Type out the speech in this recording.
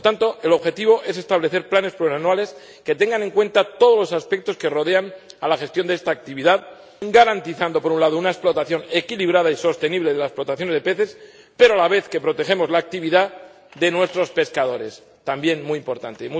Por tanto, el objetivo es establecer planes plurianuales que tengan en cuenta todos los aspectos que rodean la gestión de esta actividad, garantizando, por un lado, una explotación equilibrada y sostenible de las poblaciones de peces, pero a la vez que protegemos la actividad de nuestros pescadores, también muy importante.